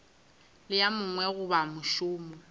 le a mangwe goba mošomo